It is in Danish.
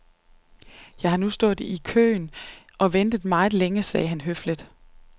Jeg har nu stået her i køen og ventet meget længe, sagde han høfligt.